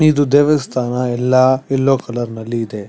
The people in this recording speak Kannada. ಇದು ದೇವ್ ಸ್ತಾನ ಎಲ್ಲ ಯಲ್ಲೋ ಕಲರ್ ನಲ್ಲಿ ಇದೆ.